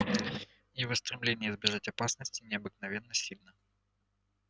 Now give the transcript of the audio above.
его стремление избежать опасности необыкновенно сильно